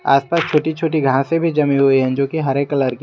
आस पास छोटी छोटी घासे भी जमी हुई हैं जो की हरे कलर की हैं।